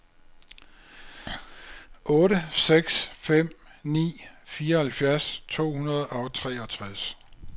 otte seks fem ni fireoghalvtreds to hundrede og treogtres